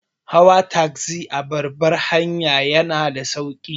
Hawa tagzi a babbar hanya yana da sauki.